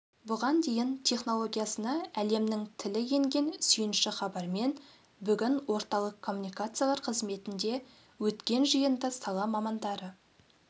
бұған дейін технологиясына әлемнің тілі енген сүйінші хабармен бүгін орталық коммуникациялар қызметінде өткен жиында сала мамандары